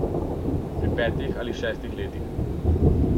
Pri petih ali šestih letih.